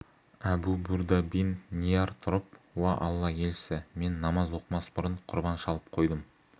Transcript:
әбу бурдә бин ниар тұрып уа алла елшісі мен намаз оқымас бұрын құрбан шалып қойдым